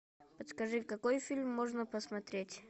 подскажи какой фильм можно посмотреть